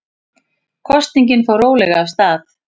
Kosningin fór rólega af stað